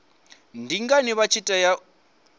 ndi ngani vha tshi tea